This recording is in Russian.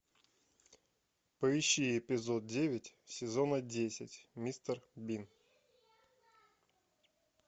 поищи эпизод девять сезона десять мистер бин